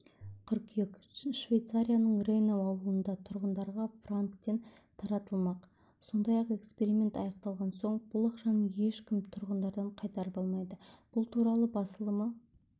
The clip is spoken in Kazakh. қыркүйек швейцарияның рейнау ауылында тұрғындарға франктен таратылмақ сондай-ақ эксперимент аяқталған соң бұл ақшаны ешкім тұрғындардан қайтарып алмайды бұл туралы басылымы